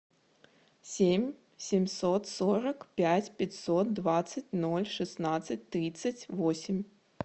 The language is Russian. семь семьсот сорок пять пятьсот двадцать ноль шестнадцать тридцать восемь